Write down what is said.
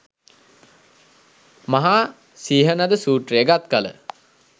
මහා සිහනද සූත්‍රය ගත්කළ